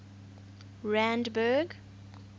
randburg